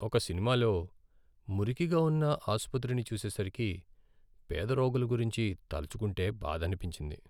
ఒక సినిమాలో మురికిగా ఉన్న ఆసుపత్రిని చూసేసరికి, పేద రోగుల గురించి తలచుకుంటే బాధనిపించింది.